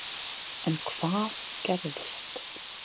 En hvað gerðist?